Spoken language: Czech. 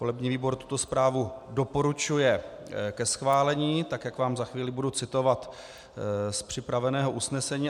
Volební výbor tuto zprávu doporučuje ke schválení, tak jak vám za chvíli budu citovat z připraveného usnesení.